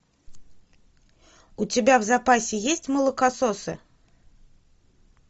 у тебя в запасе есть молокососы